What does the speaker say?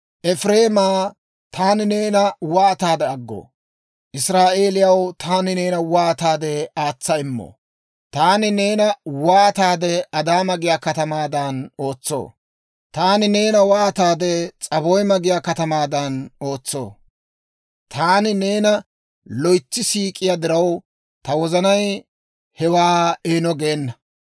«Efireemaa, taani neena waataade aggoo? Israa'eeliyaw, taani neena waataade aatsa immoo? Taani neena waataade Adaama giyaa katamaadan ootsoo? Taani neena waataade S'aboyma giyaa katamaadan ootsoo? Taani neena loytsi siik'iyaa diraw, ta wozanay hewaa eeno geena.